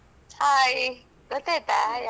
Hai. ಗೊತ್ತಾಯ್ತಾ ಯಾರಂತ?